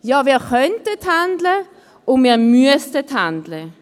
Ja, wir könnten handeln, und wir müssen handeln.